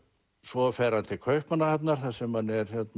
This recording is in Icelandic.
svo fer hann til Kaupmannahafnar þar sem hann